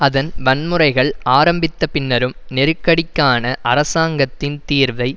அதன் வன்முறைகள் ஆரம்பித்த பின்னரும் நெருக்கடிக்கான அரசாங்கத்தின் தீர்வை